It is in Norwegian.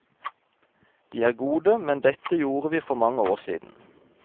De er gode, men dette gjorde vi for mange år siden.